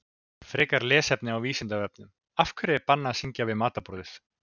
Frekara lesefni á Vísindavefnum Af hverju er bannað að syngja við matarborðið?